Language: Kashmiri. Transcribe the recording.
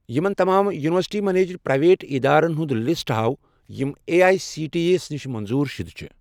یِمَن تمام یُنورسِٹی میٚنیجڑ پرٛایویٹ اِدارن ہُنٛد لسٹ ہاو یِم A I C T E نِش منظور شُدٕ چھِ